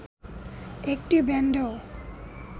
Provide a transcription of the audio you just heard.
একটি ব্যান্ডও